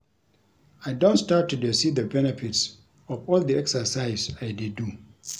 I don start to dey see the benefits of all the exercise I dey do